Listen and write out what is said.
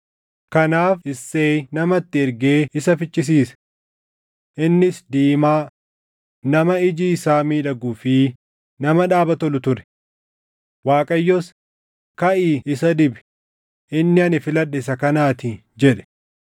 Kanaaf Isseeyi nama itti ergee isa fichisiise. Innis diimaa, nama iji isaa miidhaguu fi nama dhaaba tolu ture. Waaqayyos, “Kaʼii isa dibi; inni ani filadhe isa kanaatii” jedhe.